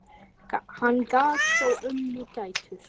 Hann gaf þó ömmu gætur.